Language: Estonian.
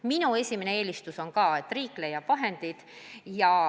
Minu esimene eelistus on ka, et riik leiab selleks vahendid.